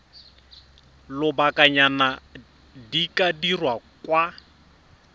lobakanyana di ka dirwa kwa